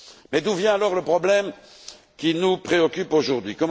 Mais d'où vient alors le problème qui nous préoccupe aujourd'hui?